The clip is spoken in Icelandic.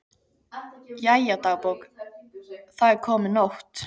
Jæja, dagbók, það er komin nótt.